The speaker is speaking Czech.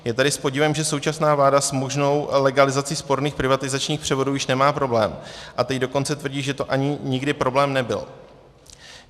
Je tedy s podivem, že současná vláda s možnou legalizací sporných privatizačních převodů již nemá problém, a teď dokonce tvrdí, že to ani nikdy problém nebyl.